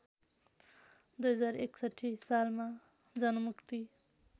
२०६१ सालमा जनमुक्ति